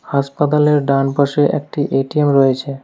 হাসপাতালের ডানপাশে একটি এ_টি_এম রয়েছে।